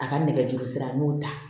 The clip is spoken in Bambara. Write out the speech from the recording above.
A ka nɛgɛjuru sira n y'o ta